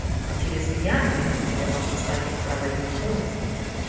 а через меня они я могу стать им проводником